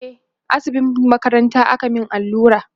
e a asibitin makaranta aka Mani allura